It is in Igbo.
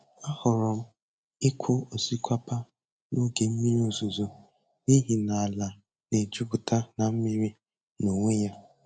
Ahọrọ m ịkụ osikapa n'oge mmiri ozuzo n'ihi na ala na-ejupụta na mmiri n'onwe ya.